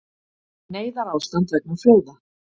Neyðarástand vegna flóða